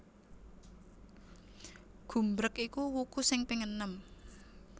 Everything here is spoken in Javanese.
Gumbreg iku wuku sing ping enem